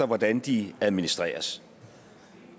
hvordan de administreres